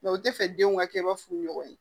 u tɛ fɛ denw ka kɛ ba furu ɲɔgɔn ye